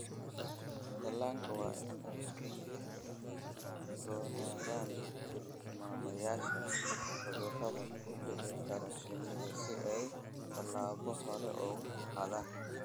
Dhallaanka waa in ay ka digtoonaadaan tilmaamayaasha cudurrada ku dhici kara shinnida si ay tallaabo hore uga qaadaan.